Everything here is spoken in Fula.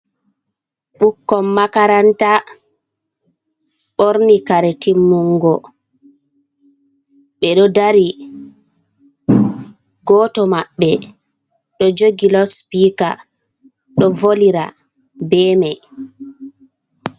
Ɓikkon makaranta borni kare timmungo be do dari, goto maɓɓe ɗo jogi laspika ɗo volira be mai.